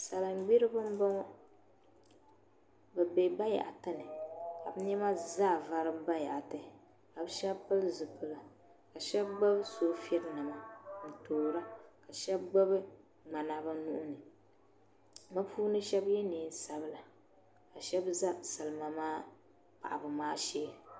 salingburiba m-bɔŋɔ bɛ be bayaɣiti ni ka bɛ nema zaa varim bayaɣiti ka bɛ shɛba pili zipila ka shɛba gbubi soobulinima n-toora ka shɛba gbubi ŋmana bɛ nuu ni bɛ puuni shɛba ye neen sabila ka shɛba za salima maa paɣibu maa shee